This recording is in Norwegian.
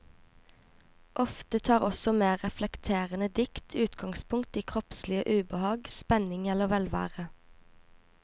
Ofte tar også mer reflekterende dikt utgangspunkt i kroppslig ubehag, spenning eller velvære.